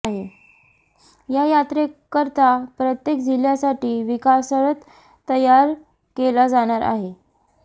या यात्रेकरता प्रत्येक जिल्ह्यासाठी विकासरथ तयार केला जाणार आहे